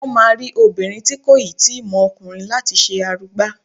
Wọn máa rí obìnrin tí kò ì tíì mọ ọkùnrin láti ṣe arugba.